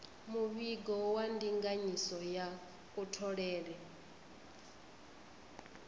muvhigo wa ndinganyiso ya kutholele